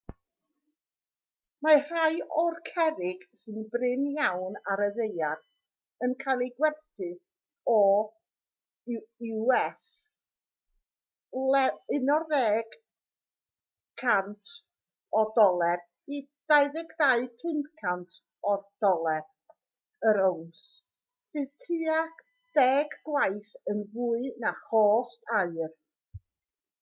mae rhai o'r cerrig sy'n brin iawn ar y ddaear yn cael eu gwerthu o us$11,000 i $22,500 yr owns sydd tua deg gwaith yn fwy na chost aur